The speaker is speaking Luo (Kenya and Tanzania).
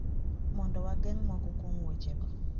Mondo wageng` moko kuom weche go?"